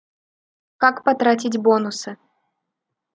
как потратить бонусы